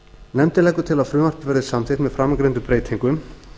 nefndin leggur til að frumvarpið verði samþykkt með framangreindum breytingum